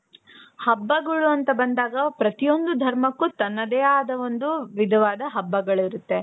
ಹಬ್ಬಗಳು ಅಂತ ಬಂದಾಗ ಪ್ರತಿಯೊಂದು ಧರ್ಮಕ್ಕೂ ತನ್ನದೇ ಆದಂತಹ ಒಂದು ವಿಧವಾದ ಹಬ್ಬಗಳು ಇರುತ್ತೆ .